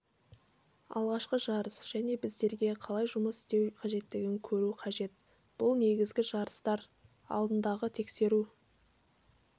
алғашқы жарыс және біздерге қалай жұмыс істеу қажеттігін көру қажет бұл негізгі жарыстар алдындағы тексеру